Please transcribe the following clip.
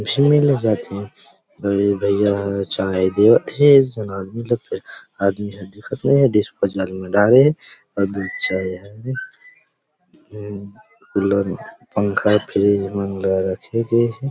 रह थे बड़े भैया ह चाय देत थे एक झन आदमी ल फेर आदमी ह दिखत नई हे दिस पोजल मे डाले हे जेमा पंखा फ्रीज़ मन ल रखे गे हे।